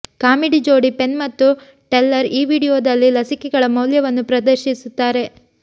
comedy ಜೋಡಿ Penn ಮತ್ತು Teller ಈ ವೀಡಿಯೊದಲ್ಲಿ ಲಸಿಕೆಗಳ ಮೌಲ್ಯವನ್ನು ಪ್ರದರ್ಶಿಸುತ್ತಾರೆ